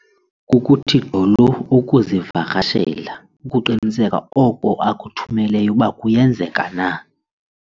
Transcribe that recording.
Kukuthi gqolo ukuzivakasela ukuqiniseka oko akuthumeleyo ukuba kuyenzeka na.